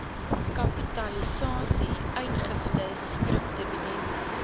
kapitalisasie uitgifte skripdividende